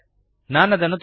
ನನಗೆ ತೋರಿಸಲು ಅವಕಾಶ ಕೊಡಿ